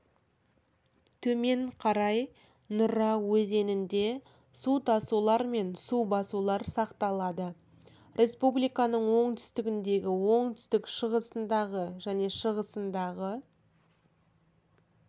төмен қарай нұра өзенінде су тасулар мен су басулар сақталады республиканың оңтүстігіндегі оңтүстік-шығысындағы және шығысындағы